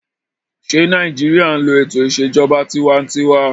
Ṣé Nàìjíríyà n lo ètò ìṣèjọba tinwatinwa?